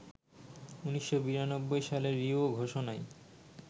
১৯৯২ সালে রিও ঘোষণায়